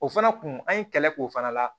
O fana kun an ye kɛlɛ k'o fana la